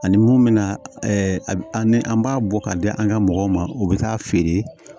Ani mun bɛ na a bɛ an ni an b'a bɔ ka di an ka mɔgɔw ma u bɛ taa feere